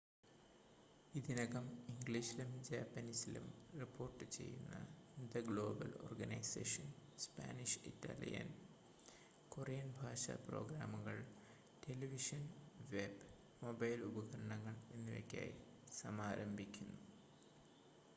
ഇതിനകം ഇംഗ്ലീഷിലും ജാപ്പനീസിലും റിപ്പോർട്ടുചെയ്യുന്ന the global organisation Spanish Italian Korean ഭാഷാ പ്രോഗ്രാമുകൾ ടെലിവിഷൻ വെബ് മൊബൈൽ ഉപകരണങ്ങൾ എന്നിവയ്ക്കായി സമാരംഭിക്കുന്നു